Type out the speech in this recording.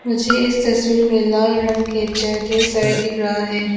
मुझे इस तस्वीर में लाल रंग के चेयर ढेर सारे दिख रहा है।